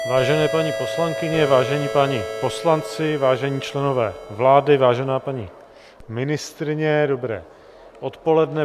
Vážené paní poslankyně, vážení páni poslanci, vážení členové vlády, vážená paní ministryně, dobré odpoledne.